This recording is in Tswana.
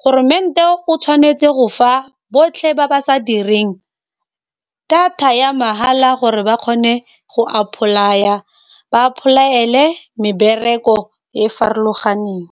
goromente o tshwanetse go fa botlhe ba ba sa direng data ya mahala, gore ba kgone go apply-a ba apply-ele mebereko e e farologaneng.